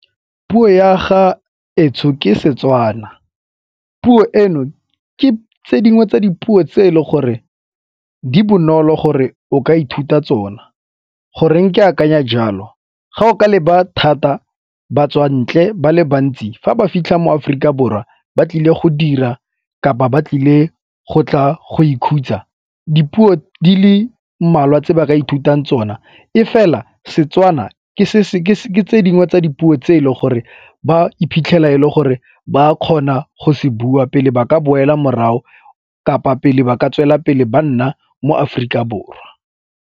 Puo ya ga etsho ke Setswana. Puo eno ke tse dingwe tsa dipuo tse e le gore di bonolo gore o ka ithuta tsona. Goreng ke akanya jalo, ga o ka leba thata batswantle ba le bantsi fa ba fitlha mo Aforika Borwa ba tlile go dira kapa ba tlile go tla go ikhutsa, dipuo di le mmalwa tse ba ka ithutang tsona e fela Setswana ke tse dingwe tsa dipuo tse e le gore ba iphitlhela e le gore ba a kgona go se bua pele ba ka boela morago kapa pele ba ka tswelela pele ba nna mo Aforika Borwa.